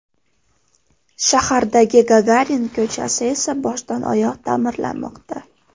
Shahardagi Gagarin ko‘chasi esa boshdan-oyoq ta’mirlanmoqda .